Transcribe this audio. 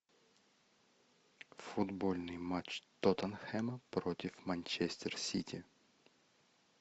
футбольный матч тоттенхэма против манчестер сити